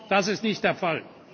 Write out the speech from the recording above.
Das ist nicht der Fall.